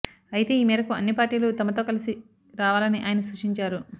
అయితే ఈ మేరకు అన్ని పార్టీలు తమతో కలిసి రావాలని ఆయన సూచించారు